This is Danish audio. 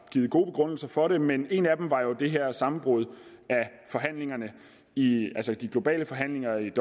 givet gode begrundelser for det men en af dem var jo det her sammenbrud i de globale forhandlinger i